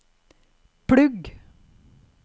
plugg